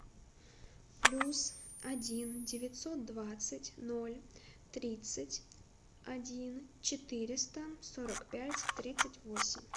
плюс один девятьсот двадцать ноль тридцать один четыреста сорок пять тридцать восемь